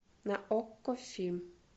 на окко фильм